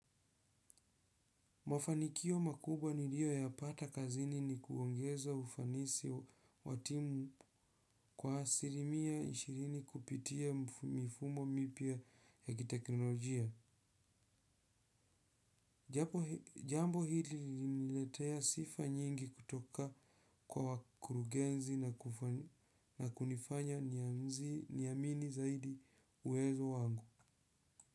Mafanikio makubwa nilio yapata kazini ni kuongezwa ufanisi wa timu kwa asilimia ishirini kupitia mifumo mipya ya kiteknolojia. Jambo hili liniletea sifa nyingi kutoka kwa wakurugenzi na kunifanya niamini zaidi uwezo wangu.